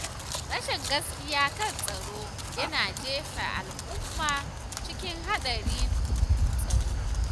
Rashin gaskiya kan tsaro yana jefa al’umma cikin haɗarin tsaro.